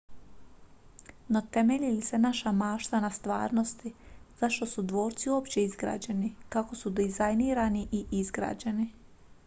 no temelji li se naša mašta na stvarnosti zašto su dvorci uopće izgrađeni kako su dizajnirani i izgrađeni